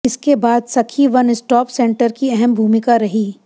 इसके बाद Sakhi one stop centre की अहम भूमिका रही